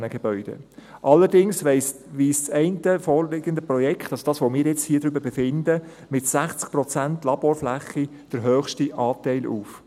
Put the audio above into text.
Allerdings weist das vorliegende Projekt – also jenes, über das wir hier befinden – mit 60 Prozent Laborfläche den höchsten Anteil auf.